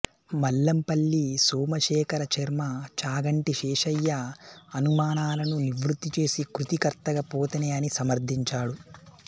మల్లంపల్లి సోమశేఖర శర్మ చాగంటి శేషయ్య అనుమానాలను నివృత్తి చేసి కృతికర్తగా పోతనే అని సమర్ధించాడు